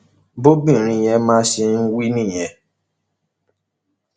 bọbìnrin yẹn ma ṣe ń wí nìyẹn